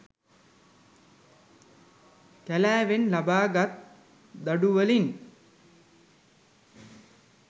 කැලෑවෙන් ලබාගත් දඩුවලින්